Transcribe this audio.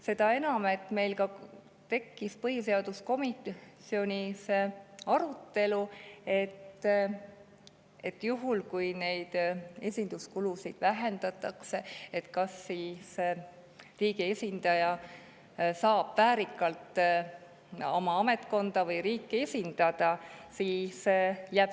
Seda enam, et meil tekkis põhiseaduskomisjonis arutelu ka selle üle, kas juhul, kui neid esinduskuludeks vähendatakse, saab riigi esindaja oma ametkonda või riiki väärikalt esindada.